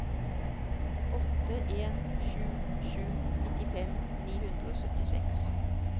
åtte en sju sju nittifem ni hundre og syttiseks